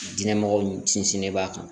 Diinɛ mɔgɔ ni sinsinnen b'a kan